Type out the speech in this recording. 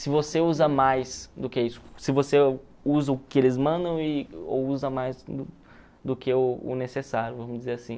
se você usa mais do que isso, se você usa o que eles mandam e ou usa mais do que o o necessário, vamos dizer assim.